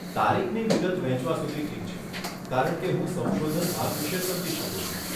તારીખની વિગત વહેંચવા સુધી ઠીક છે, કારણ કે હું સંશોધન ભાગ વિશે સમજી શકું છું.